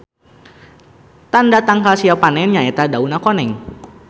Tanda tangkal siap panen nya eta dauna koneng.